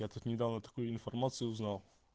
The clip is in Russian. я тут недавно такую информацию узнал